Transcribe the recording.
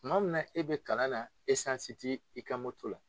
Tuma min na e bɛ kalan na tɛ i ka moto la